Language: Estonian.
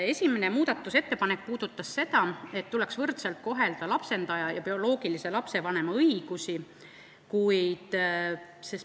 Esimene muudatusettepanek puudutab seda, et tuleks võrdselt kohelda lapsendaja ja bioloogilise lapsevanema õigusi.